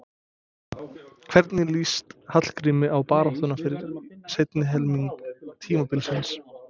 Hvernig lýst Hallgrími á baráttuna fyrir seinni helming tímabilsins?